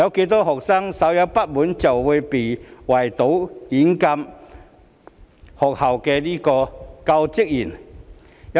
多少學生稍有不滿便會圍堵、軟禁學校教職員？